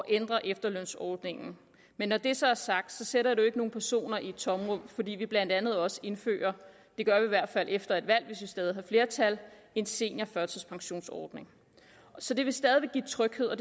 ændre efterlønsordningen men når det så er sagt sætter det jo ikke nogen personer i et tomrum fordi vi blandt andet også indfører det gør vi i hvert fald efter et valg hvis vi stadig har flertal en seniorførtidspensionsordning så det vil stadig væk give tryghed og